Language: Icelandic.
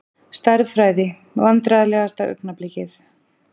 Stærðfræði Vandræðalegasta augnablikið?